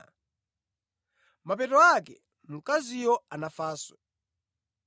Pa mapeto pake mkaziyo anafanso.